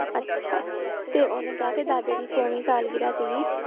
ਅੱਛਾ ਤੇ ਉਹਨੇ ਕਿਹਾ ਕਿ ਦਾਦੇ ਦੀ ਸੌਵੀਂ ਸਾਲਗਿਰਾਹ ਸੀਗੀ